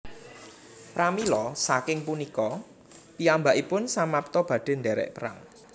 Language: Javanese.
Pramila saking punika piyambakipun samapta badhe ndherek Perang